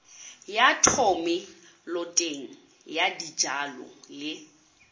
ya thomeloteng ya dijalo le